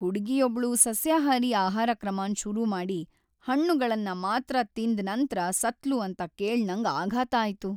ಹುಡುಗಿಯೊಬ್ಳು ಸಸ್ಯಾಹಾರಿ ಆಹಾರಕ್ರಮನ್ ಶುರು ಮಾಡಿ ಹಣ್ಣುಗಳನ್ ಮಾತ್ರ ತಿಂದ್ ನಂತ್ರ ಸತ್ಲು ಅಂತ ಕೇಳ್ ನಂಗ್ ಆಘಾತ ಆಯ್ತು.